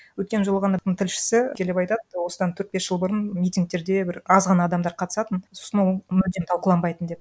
өткен жолы ғана тілшісі келіп айтады осыдан төрт бес жыл бұрын митингтерде бір аз ғана адамдар қатысатын сосын ол мүлдем талқыланбайтын деп